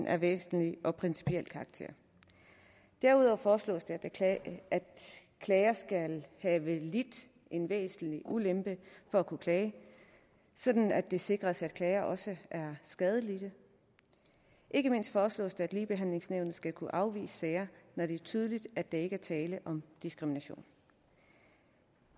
af væsentlig og principiel karakter derudover foreslås det at klager at klager skal have lidt en væsentlig ulempe for at kunne klage sådan at det sikres at klager også er skadelidt ikke mindst foreslås det at ligebehandlingsnævnet skal kunne afvise sager når det er tydeligt at der ikke er tale om diskrimination